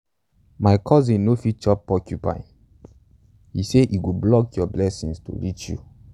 my cousin no fit chop porcupine - he say e go block your blessings to reach you.